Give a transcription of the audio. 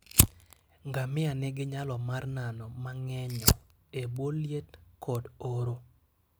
Ngamia nigi nyalo mar nano mangenyo e bwo liet kod oro.